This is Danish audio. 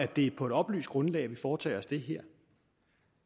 det er på et oplyst grundlag vi foretager os det her